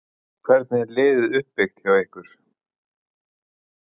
Hvernig er liðið uppbyggt hjá ykkur?